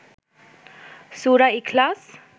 সূরা ইখলাস